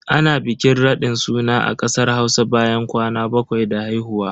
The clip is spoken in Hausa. Ana bikin raɗin suna a kasar Hausa bayan kwana bakwai da haihuwa.